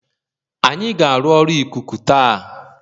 Anyị ga-arụ ọrụ ikuku taa